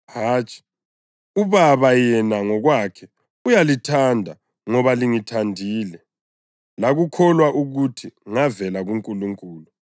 Hatshi, uBaba yena ngokwakhe uyalithanda ngoba lingithandile, lakukholwa ukuthi ngavela kuNkulunkulu.